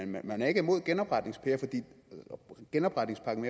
man er ikke imod genopretningspakken genopretningspakken